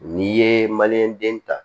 N'i ye den ta